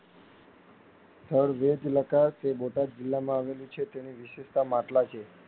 સ્થળ વેદલકાર તે બોટાદ જીલ્લામાં આવેલું છે તેની વિશિષ્ટતા માટલાં છે.